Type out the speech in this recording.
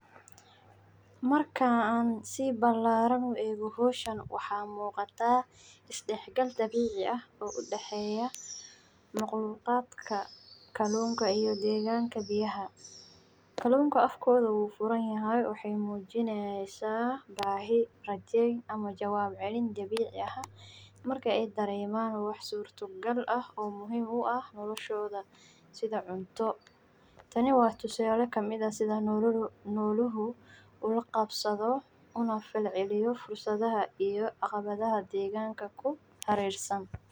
Waxa weeye farsamo ay dadku ku kala qabtaan siyaabo badan oo ay ku kala duwan yihiin, sida isticmaalka shabakadda, wadnaha, madawga, iyo xataa gawaarida, gaar ahaan meelaha kalluunka badan ee badaha, webiyada, iyo haraha, qofka kalluunka qabana inuu dooran karo habka ugu habboon ee ay u qabanayso, tusaale ahaan, dadka reer miyiga waxay inta badan isticmaalaan qalab fudud sida minjilada iyo jirridyada.